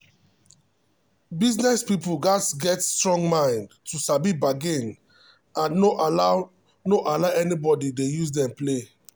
business people gats get strong mind to sabi bargain and no allow no allow anybody use dem play.